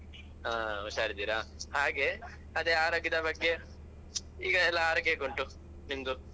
ಹಾ ಹುಷಾರಿದ್ದೀರಾ ಹಾಗೆ ಅದೇ ಆರೋಗ್ಯದ ಬಗ್ಗೆ ಈಗ ಎಲ್ಲ ಆರೋಗ್ಯ ಹೇಗುಂಟು ನಿಮ್ದು?